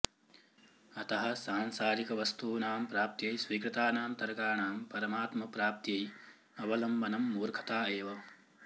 अतः सांसारिकवस्तूनां प्राप्त्यै स्वीकृतानां तर्काणां परमात्मप्राप्त्यै अवलम्बनं मूर्खता एव